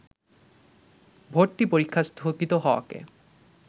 ভর্তি পরীক্ষা স্থগিত হওয়াকে